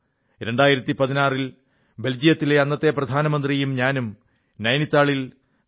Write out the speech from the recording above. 2016 ൽ ബെൽജിയത്തിലെ അന്നത്തെ പ്രധാനമന്ത്രിയും ഞാനും നൈനിറ്റാളിൽ 3